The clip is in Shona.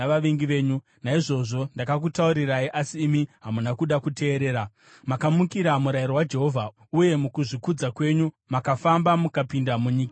Naizvozvo ndakakutaurirai, asi imi hamuna kuda kuteerera. Makamukira murayiro waJehovha uye mukuzvikudza kwenyu makafamba mukapinda munyika yamakomo.